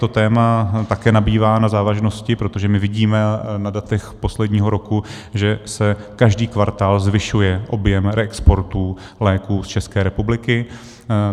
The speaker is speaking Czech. Toto téma také nabývá na závažnosti, protože my vidíme na datech posledního roku, že se každý kvartál zvyšuje objem reexportů léků z České republiky.